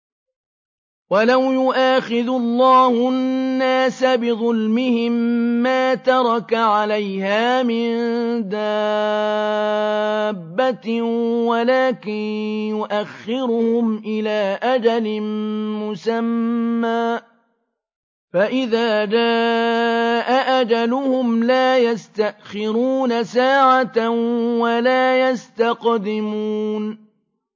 وَلَوْ يُؤَاخِذُ اللَّهُ النَّاسَ بِظُلْمِهِم مَّا تَرَكَ عَلَيْهَا مِن دَابَّةٍ وَلَٰكِن يُؤَخِّرُهُمْ إِلَىٰ أَجَلٍ مُّسَمًّى ۖ فَإِذَا جَاءَ أَجَلُهُمْ لَا يَسْتَأْخِرُونَ سَاعَةً ۖ وَلَا يَسْتَقْدِمُونَ